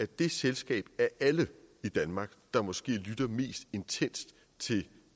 det selskab af alle i danmark der måske lytter mest intenst til